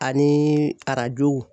Ani arajo